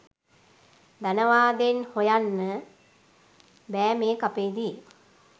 ධනවාදයෙන් හොයන්න බෑ මේ කපේදි.